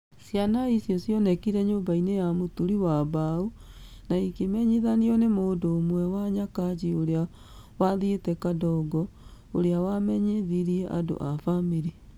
Ciana icio cionekire nyũmba-inĩ ya mũturi wa mbaũ na igĩmenyithanio nĩ mũndũ ũmwe wa Nyakach ũrĩa wathiĩte Kadongo, ũrĩa wamenyithirie andũ a famĩlĩ.